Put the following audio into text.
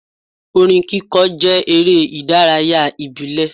Orin kíkọ jẹ́ eré ìdárayá ìbílẹ̀.